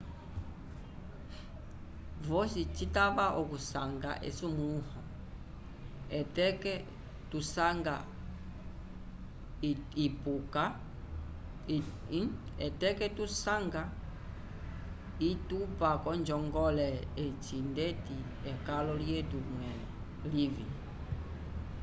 vosi citava okusanga esumulũho etateko tusanga itupa k'onjongole eyi ndeti ekalo lyetu mwẽle livĩ